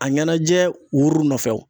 A ɲɛnajɛ wuru nɔfɛ